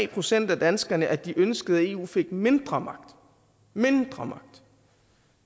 procent af danskerne at de ønskede at eu fik mindre magt mindre